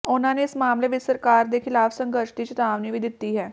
ਉਨ੍ਹਾਂ ਨੇ ਇਸ ਮਾਮਲੇ ਵਿੱਚ ਸਰਕਾਰ ਦੇ ਖਿਲਾਫ ਸੰਘਰਸ਼ ਦੀ ਚਿਤਾਵਨੀ ਵੀ ਦਿੱਤੀ ਹੈ